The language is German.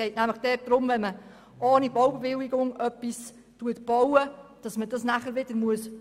Dabei geht es nämlich darum, dass etwas, was ohne Baubewilligung gebaut wurde, wieder rückgebaut werden muss.